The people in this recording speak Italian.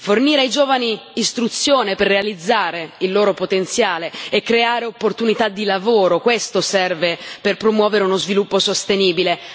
Fornire ai giovani istruzione per realizzare il loro potenziale e creare opportunità di lavoro questo serve per promuovere uno sviluppo sostenibile.